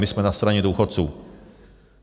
My jsme na straně důchodců.